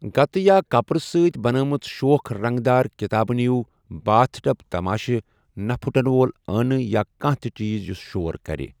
گتہٕ یا كپرٕ سۭتۍ بناوِمٕژٕ شوخ رنگدار كِتابہٕ نِیو، باتھ ٹب تماشہِ، نہٕ پھُٹن وول ٲنہٕ یا كانہہ تہِ چیز یُس شور كرِ ۔